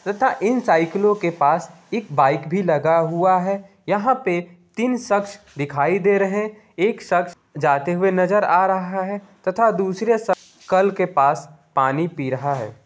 तथा इन साइकिलों के पास एक बाइक भी लगा हुआ है यहां पे तीन शख्स दिखाई दे रहे हैं एक शख्स जाते हुए नजर आ रहा है तथा दूसरे शख्स कल के पास पानी पी रहा है।